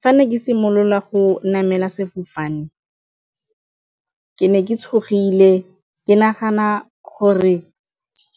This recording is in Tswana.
Fa ne ke simolola go namela sefofane ke ne ke tshogile, ke nagana gore